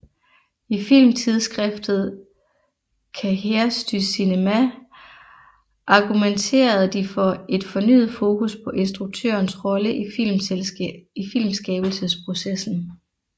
I filmtidsskriftet Cahiers du Cinéma argumenterede de for et fornyet fokus på instruktørens rolle i filmskabelsesprocessen